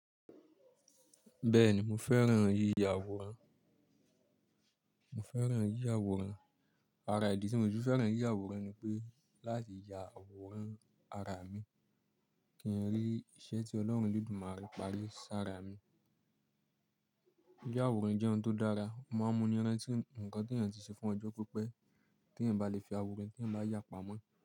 Bẹ́ẹ̀ni, mo fẹ́ràn yíya àwòrán, mo feran yiya aworan. Àrà ìdí tí mo si fi fẹ́ràn yíya àwòrán ni pé láti ya àwòrán ara mi kí n rí iṣẹ́ tí Ọlọ́run eledumare pari sára mi. Yíya àwòrán jẹ́ ohun tó dára, o máa ń múni rantí nǹkan tí èèyàn ti ṣe fún ọjọ́ pípẹ́ tí èèyàn bá le fi àwòrán tí èèyàn bá yà pamọ́